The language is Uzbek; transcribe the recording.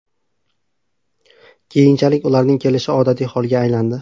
Keyinchalik, ularning kelishi odatiy holga aylandi.